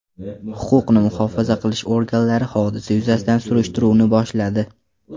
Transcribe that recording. Huquqni muhofaza qilish organlari hodisa yuzasidan surishtiruvni boshladi.